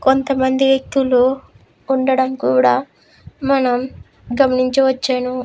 కొంత మంది వ్యక్తులు ఉండడం కూడా మనం గమనించ వచ్చను.